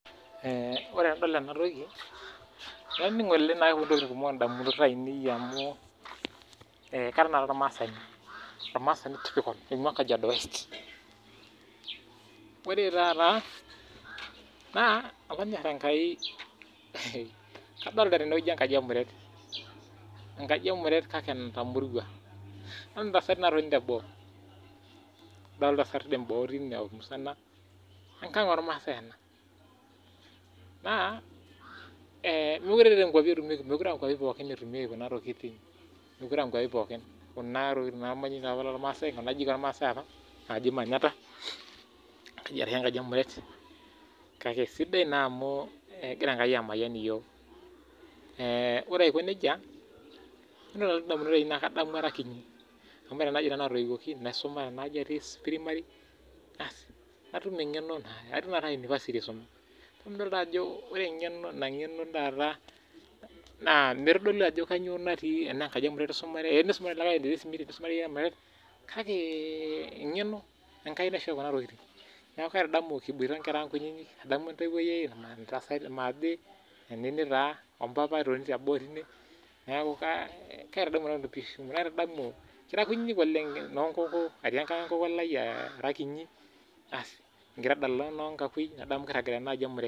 Ore tenadol ena toki naa kepuonu entokitin kumok elukunya ai amu Kara ormasani ore taata naa kadolita enkaji emuret natamorua netii entasati natii boo teine enkag ormasai ena naa mekure aa nkwapii pookin etumieki Kuna tokitin mekure aa nkwapii pookin Kuna ajijik ormasai apa najii manyatta ashu enkaji emuret kake sidai naa amu egira enkai emayian iyiok ore Aiko nejia ore entoki nalotu edamunot naa kadamu Ara kiti amu tenaa aji nanu atoyiwuoki naisuma Tena ajii atii primary natum eng'eno atii tanakata university aisuma paa midol doi Ajo ore ng'eno mitodolu ena enkaji emuret esumare enisumare olikae enesimiti nisumare iyie emuret eng'eno naa enkai naishoyo ena toki neeku adamu kinosita oo nkera ang kutiti maathe Nini taa ompapa etoni tee boo teine naitadamu noo nkoko ati ankag enkoko Ara kiti kigira adala oo noo nkakui nadamu kiragita enaaji emuret